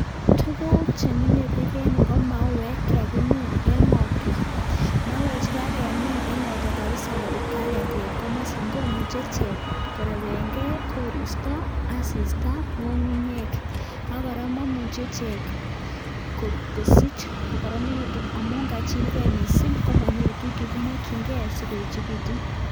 Tukuk chemilebik en yuu ko mauek chekakimin en ngo'twa, mauechu kakimin kabisaa korupke ak ngo'twa korupke ak ketikab komosin komuche ichek korebengekoristo, asista, ng'ung'unyek ak kora momuche ichek kosich kokoronekitun amun kachilke mising komonyoru tukuk chekimokying'e sikoechekitun.